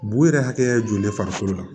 Bu yɛrɛ hakɛ joli farikolo la